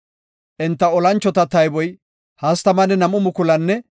Enta olanchota tayboy 32,200.